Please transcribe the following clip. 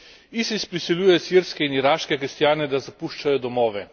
ISIS prisiljuje sirske in iraške kristjane, da zapuščajo domove.